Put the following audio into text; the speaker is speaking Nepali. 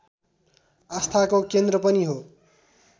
आस्थाको केन्द्र पनि हो